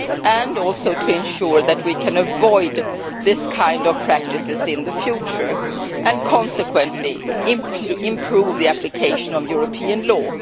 and also to ensure that we can avoid this kind of practice in the future and consequently improve the application of European Union law.